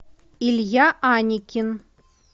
илья аникин